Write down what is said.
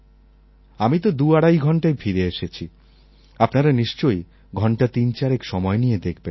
আমি তো দুআড়াই ঘণ্টায় ফিরে এসেছি আপনারা নিশ্চয়ই ঘণ্টা তিনচারেক সময় নিয়ে দেখবেন